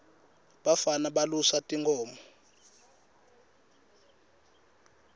bafana balusa tinkhomo